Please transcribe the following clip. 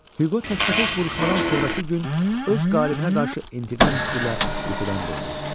Hüqo tək-bətək vuruşmadan sonrakı gün öz qalibinə qarşı intiqam hissi ilə yuxudan durdu.